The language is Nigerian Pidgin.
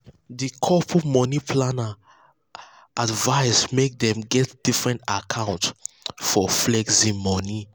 the couple money planner advise make dem get different account for flexing money.